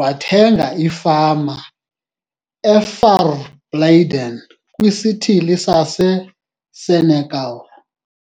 wathenga ifama e-Verblyden kwisithili saseSenekal.